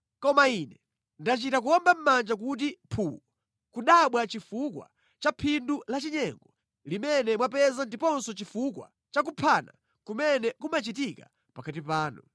“ ‘Koma Ine ndachita kuwomba mʼmanja kuti phuu nʼkudabwa chifukwa cha phindu lachinyengo limene mwapeza ndiponso chifukwa cha kuphana kumene kumachitika pakati panu.